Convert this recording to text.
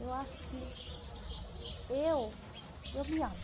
Eu acho que eu, eu me amo.